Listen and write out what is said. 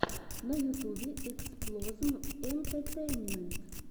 на ютубе эксплозм энтетейнмент